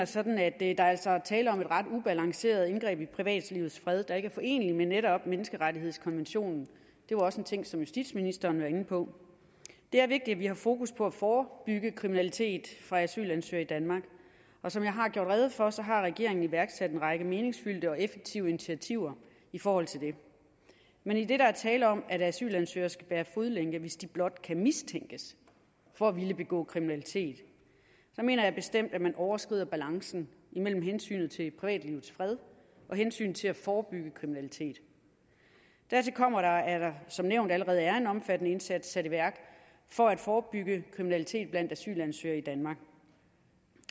sådan at der altså er tale om et ret ubalanceret indgreb i privatlivets fred der ikke er foreneligt med netop menneskerettighedskonventionen det var også en ting som justitsministeren var inde på det er vigtigt at vi har fokus på at forebygge kriminalitet fra asylansøgere i danmark og som jeg har gjort rede for har regeringen iværksat en række meningsfyldte og effektive initiativer i forhold til det men idet der er tale om at asylansøgere skal bære fodlænke hvis de blot kan mistænkes for at ville begå kriminalitet mener jeg bestemt at man overskrider balancen imellem hensynet til privatlivets fred og hensynet til at forebygge kriminalitet dertil kommer at der som nævnt allerede er en omfattende indsats sat i værk for at forebygge kriminalitet blandt asylansøgere i danmark